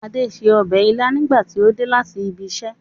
Ade ṣe ọbẹ̀ ilá nígbà tí ó dé láti ibiṣẹ́